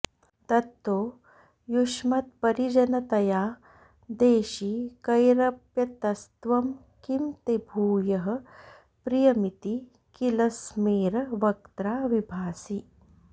दत्तो युष्मत्परिजनतया देशिकैरप्यतस्त्वं किं ते भूयः प्रियमिति किल स्मेर वक्त्रा विभासि